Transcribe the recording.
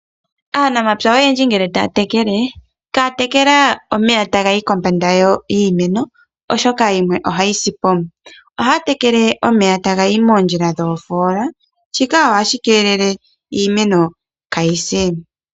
Aanamapya oyendji ngele taya tekele ihaya tekele omeya taga yi kombanda yiimenooshoka ohayi sipo, ohaya tekele omeya taga yi moondjila dho foola shika ohashi kelele iimeno kayise.